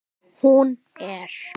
Hún er